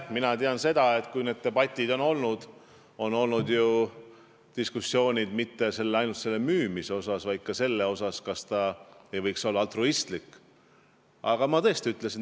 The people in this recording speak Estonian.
Mina tean seda, et kui need debatid on olnud, siis ei ole ju diskuteeritud mitte ainult müümise üle, vaid ka selle üle, kas see ei võiks olla altruistlik tegevus.